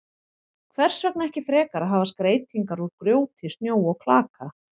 Hvers vegna ekki frekar að hafa skreytingar úr grjóti, snjó og klaka?